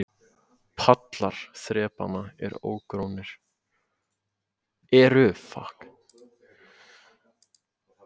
Pallar þrepanna eru ógrónir.